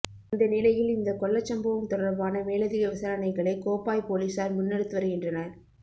இந்த நிலையில் இந்த கொள்ளச்சம்பவம் தொடர்பான மேலதிக விசாரணைகளை கோப்பாய் பொலிசார் முன்னெடுத்து வருகின்றனர்